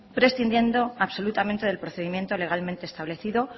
prescindiendo absolutamente del procedimiento legalmente establecido